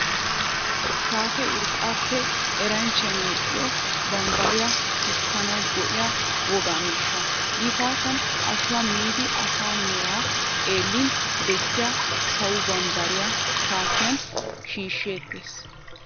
Shaatee urqqaappe eranchchay medhdhido, bambbariyaa tushkkanawu go'iya wogaa miishsha. Gifaatan ashuwaa miiddi asaa meraa xeellin bessiya sawo bambbariyaa shaatiyan shiishsheettees.